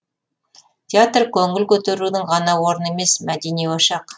театр көңіл көтерудің ғана орны емес мәдени ошақ